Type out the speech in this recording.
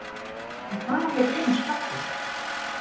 En hvar á ég að geyma skrokkinn.